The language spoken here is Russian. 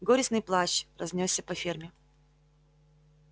горестный плач разнёсся по ферме